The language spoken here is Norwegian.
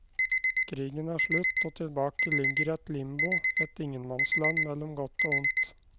Krigen er slutt, og tilbake ligger et limbo, et ingenmannsland mellom godt og ondt.